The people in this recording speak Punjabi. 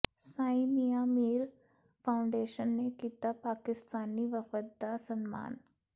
ਸਾਈਂ ਮੀਆਂ ਮੀਰ ਫਾਊਂਡੇਸ਼ਨ ਨੇ ਕੀਤਾ ਪਾਕਿਸਤਾਨੀ ਵਫਦ ਦਾ ਸਨਮਾਨ